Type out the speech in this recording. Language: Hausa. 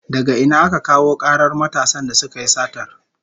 Daga ina aka kawo karar matasan da suka yi satar?